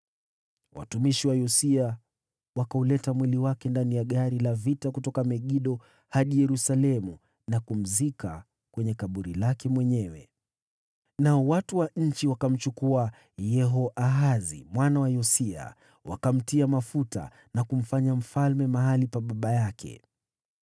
Watumishi wa Yosia wakauleta mwili wake katika gari la vita kutoka Megido hadi Yerusalemu, wakamzika kwenye kaburi lake mwenyewe. Nao watu wa nchi wakamchukua Yehoahazi mwana wa Yosia, wakamtia mafuta na kumfanya mfalme mahali pa baba yake.